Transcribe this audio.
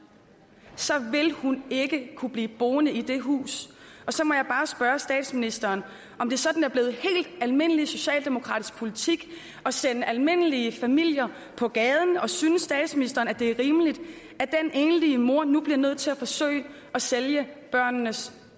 vil hun ikke kunne blive boende i det hus så må jeg bare spørge statsministeren om det sådan er blevet helt almindelig socialdemokratisk politik at sende almindelige familier på gaden og synes statsministeren at det er rimeligt at den enlige mor nu bliver nødt til at forsøge at sælge børnenes